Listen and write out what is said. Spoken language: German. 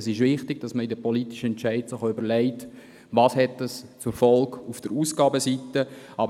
Es ist wichtig, dass man sich bei den politischen Entscheiden auch überlegt, welche Folgen diese auf der Aufgabenseite haben werden.